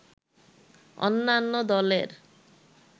অন্যান্য দলের